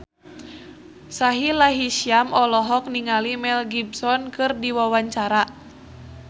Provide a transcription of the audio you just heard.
Sahila Hisyam olohok ningali Mel Gibson keur diwawancara